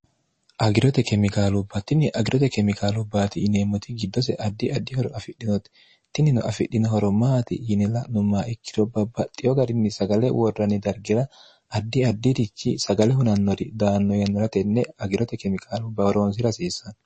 agirote kemikaalu battinni agirote kemikaalu baati ineemmoti giddose addi addihoro afidhinotitinnino afidhinohoro maati yini la'nummaa ikkiro babbaxxiyo garinni sagale worranni dargira addi addirichi sagale hunannori daanno yannora tenne agirote kemiqaalu baworoonsi rasiissanno